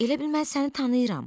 Elə bil mən səni tanıyıram.